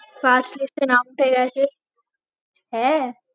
Pass list এ নাম উঠে গেছে হ্যাঁ